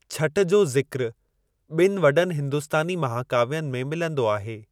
छठि जो ज़िक्र ॿिन वॾनि हिंदुस्‍तानी महाकाव्‍यनि में मिलंदो आहे।